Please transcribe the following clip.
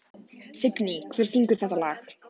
Signý, hver syngur þetta lag?